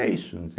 É isso.